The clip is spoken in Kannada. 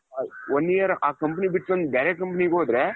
ಅವರ್ one year ಆ company ಬಿಟ್ಮೇಲೆ ಬೇರೆ company ಗೆ ಹೋದ್ರೆ,